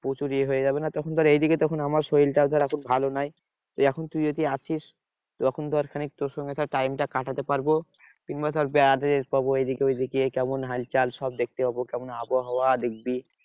প্রচুর ইয়ে হয়ে যাবে না? তখন ধর এইদিকে তখন আমার শরীর টাও ধর এখন ভালো নয়। এখন তুই যদি আসিস, ওরকম ধর খানিক তোর সঙ্গে ধর time টা কাটাতে পারবো। কিংবা ধর বেড়াতে যেতে পারবো এইদিকে ওইদিকে। কেমন হালচাল? সব দেখতে পাবো। কেমন আবহাওয়া দেখবি?